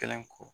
Kelen ko